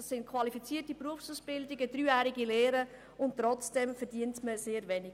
Das sind qualifizierte Berufsausbildungen, dreijährige Lehren, und trotzdem verdient man damit sehr wenig.